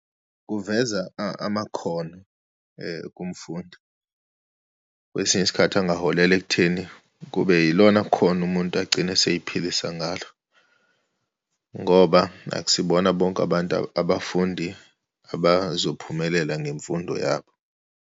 Kuveza amakhono kumfundi, kwesinye isikhathi angaholela ekutheni kube yilona khono umuntu agcine eseyiphilisa ngalo, ngoba akusibona bonke abantu, abafundi abazophumelela ngemfundo yabo.